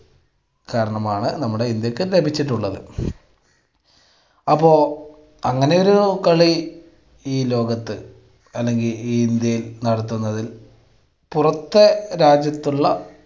കാരണമാണ് നമ്മുടെ ഇന്ത്യക്ക് ലഭിച്ചിട്ടുള്ളത്. അപ്പൊ അങ്ങനെയൊരു കളി ഈ ലോകത്ത് അല്ലെങ്കിൽ ഈ ഇന്ത്യയിൽ നടത്തുന്നതിൽ പുറത്തെ രാജ്യത്തുള്ള